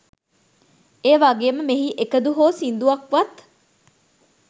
ඒවගේම මෙහි එකදු හෝ සිංදුවක්වත්